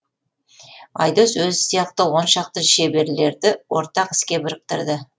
айдос өзі сияқты он шақты шеберлерді ортақ іске біріктірді